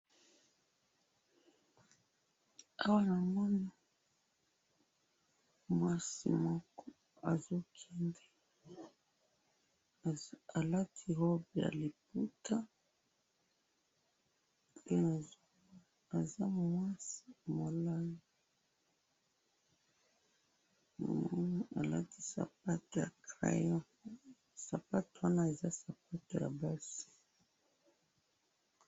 Awa namoni mwasi moko azo kende, alati robe ya liputa pe aza mwasi molayi alati sapato ya crayon sapato wana eza sapato ya basi mulayi.